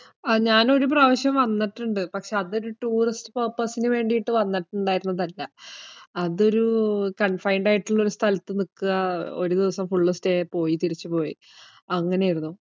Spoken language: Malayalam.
ആഹ് ഞാൻ ഒരു പ്രാവശ്യം വന്നിട്ട്ണ്ട്. പക്ഷേ അതൊരു tourist purpose നുവേണ്ടീട്ട് വന്നിട്ടുണ്ടായിരുന്നതല്ല. അതൊരു confined ആയിട്ടുള്ളൊരു സ്ഥലത്ത് നിക്കുക, ഒരു ദിവസം full stay പോയി, തിരിച്ചുപോയി, അങ്ങനെയായിരുന്നു.